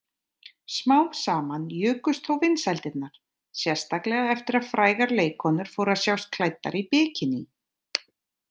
Smám saman jukust þó vinsældirnar, sérstaklega eftir að frægar leikkonur fóru að sjást klæddar bikiní.